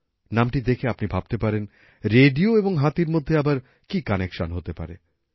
নামটি দেখে আপনি ভাবতে পারেন রেডিও এবং হাতির মধ্যে আবার কী কানেকশন হতে পারে